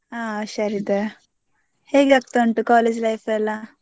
ಹಾ ಹುಷಾರ್ ಇದ್ದೆ. ಹೇಗೆ ಆಗ್ತಾ ಉಂಟು college life ಎಲ್ಲಾ?